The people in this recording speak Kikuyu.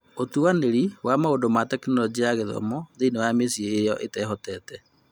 ũtuanĩri wa maũndũ ma Tekinoronjĩ ya Gĩthomo thĩinĩ wa mĩciĩ ĩyo itarĩ na ũhoti